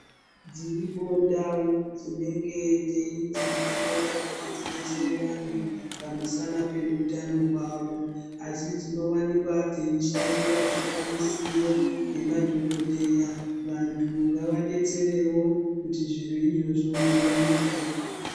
Dziripo ndau dzinenge dzeinzi dzinoda kuti dzidetsere vantu pamusana peutano hwavo, asi dzinowanikwa dzeishaiwa zvikwanisiro nemadhokoteya. Vantu ngavabetserevo kuti zviro izvozvo zviwanikwe.